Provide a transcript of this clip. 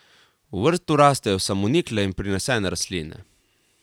V vrtu rastejo samonikle in prinesene rastline.